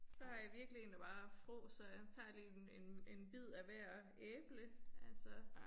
Så har jeg virkelig én der bare frådser. Han tager lige en en en bid af hvert æble altså